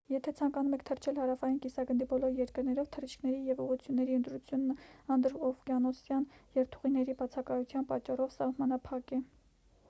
եթե ցանկանում եք թռչել հարավային կիսագնդի բոլոր երկրներով թռիչքների և ուղղությունների ընտրությունն անդրօվկիանոսյան երթուղիների բացակայության պատճառով սահմանափակ է